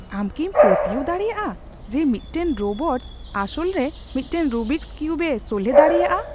ᱟᱢ ᱠᱤᱢ ᱯᱟᱹᱛᱭᱟᱹᱣ ᱫᱟᱲᱮᱭᱟᱜᱼᱟ ᱡᱮ ᱢᱤᱫᱴᱟᱝ ᱨᱳᱵᱚᱴᱥ ᱟᱥᱚᱞᱨᱮ ᱢᱤᱫᱴᱟᱝ ᱨᱩᱵᱤᱠᱚᱥ ᱠᱤᱣᱩᱵᱽ ᱮ ᱥᱚᱞᱦᱮ ᱫᱟᱲᱮᱭᱟᱜᱼᱟ ?